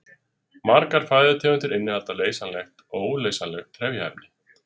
Margar fæðutegundir innihalda leysanleg og óleysanleg trefjaefni.